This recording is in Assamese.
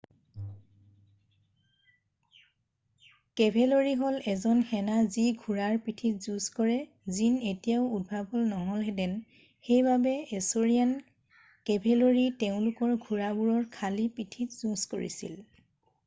কেভেলৰি হল এজন সেনা যি ঘোঁৰাৰ পিঠিত যুজঁ কৰে জিন এতিয়াও উদ্ভাৱন নহলহেতেন সেইবাবে এছৰিয়ান কেভেলৰি তেওঁলোকৰ ঘোঁৰাবোৰৰ খালি পিঠিত যুজঁ কৰিছিল